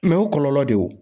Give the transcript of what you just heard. o kɔlɔlɔ de ye